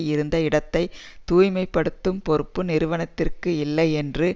இருந்த இடத்தை தூய்மை படுத்தும் பொறுப்பு நிறுவனத்திற்கு இல்லையென்று